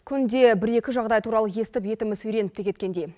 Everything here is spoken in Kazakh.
күнде бір екі жағыдай туралы естіп етіміз үйреніп те кеткендей